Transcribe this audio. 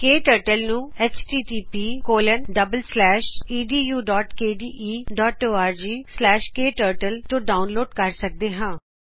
ਕੇ turtle ਨੂੰਐਚ T T ਪੀਐਡੂਕੇਡੀਈਔਰਗ K turtle httpedukdeorgਕਟਰਟਲ ਤੋਂ ਡਾਊਨਲੋਡ ਕਰ ਸਕਦੇ ਹਾਂ